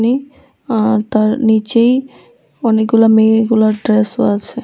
আহ তার নিচেই অনেকগুলা মেয়ে গুলার ড্রেসও আছে।